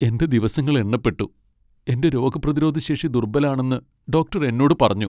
എന്റെ ദിവസങ്ങൾ എണ്ണപ്പെട്ടു. എന്റെ രോഗപ്രതിരോധ ശേഷി ദുർബലാണെന്ന് ഡോക്ടർ എന്നോട് പറഞ്ഞു.